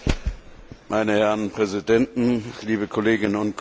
Meine Herren Präsidenten, liebe Kolleginnen und Kollegen!